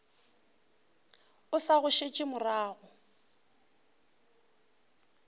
o sa go šetše morago